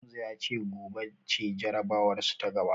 Hamza ya ce gobe ce jarabawarsu ta gaba.